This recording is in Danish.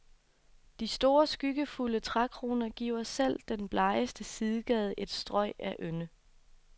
De store skyggefulde trækroner giver selv den blegeste sidegade et strøg af ynde.